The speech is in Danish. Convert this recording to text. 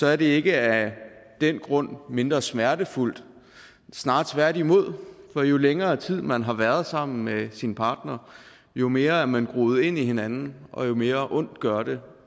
er det ikke af den grund mindre smertefuldt snarere tværtimod for jo længere tid man har været sammen med sin partner jo mere er man groet ind i hinanden og jo mere ondt gør det